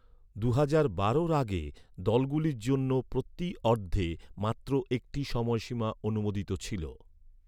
দুহাজার বারোর আগে, দলগুলির জন্য প্রতি অর্ধে মাত্র একটি সময়সীমা অনুমোদিত ছিল।